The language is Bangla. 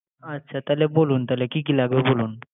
আচ্ছ তাইলে বলুন। তাইলে কি কি লাগবে, বলন?